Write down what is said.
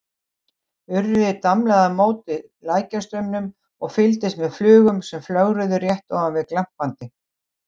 Urriði damlaði á móti lækjarstraumnum og fylgdist með flugum sem flögruðu rétt ofan við glampandi